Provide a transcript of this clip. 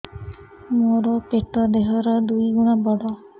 ମୋର ପେଟ ଦେହ ର ଦୁଇ ଗୁଣ ବଡ